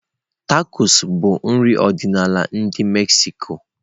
Tacos bụ nri ọdịnala ndi Mexico.